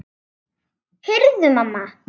Heyrðu mamma!